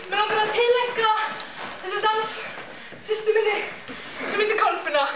mig langar að tileinka þennan dans systur minni sem heitir Kolfinna